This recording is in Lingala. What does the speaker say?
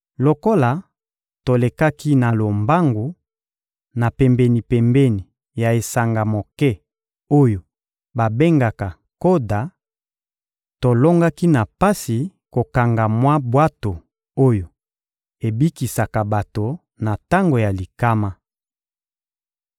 Lokola tolekaki na lombangu, na pembeni-pembeni ya esanga moke oyo babengaka Koda, tolongaki na pasi kokanga mwa bwato oyo ebikisaka bato na tango ya likama.